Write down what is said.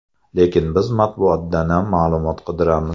Lekin biz matbuotdanam ma’lumot qidiramiz.